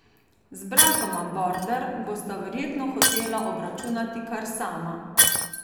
Z bratoma Border bosta verjetno hotela obračunati kar sama.